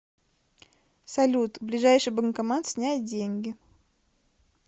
салют ближайший банкомат снять деньги